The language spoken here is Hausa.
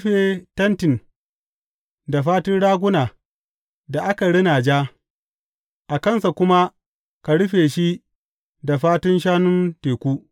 Ka yi abin rufe tentin da fatun raguna da aka rina ja, a kansa kuma ka rufe shi da fatun shanun teku.